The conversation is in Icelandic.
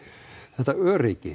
þetta öryggi